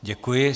Děkuji.